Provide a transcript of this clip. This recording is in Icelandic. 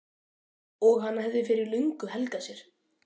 og hann hafði fyrir löngu helgað sér.